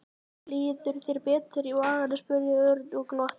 Líður þér betur í maganum? spurði Örn og glotti.